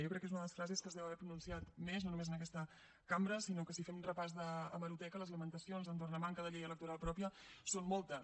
jo crec que és una de les frases que es deu haver pronunciat més no només en aquesta cambra sinó que si fem repàs d’hemeroteca les lamentacions entorn la manca de llei electoral pròpia són moltes